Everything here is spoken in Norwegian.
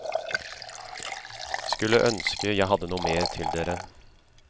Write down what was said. Skulle ønske jeg hadde noe mer til dere.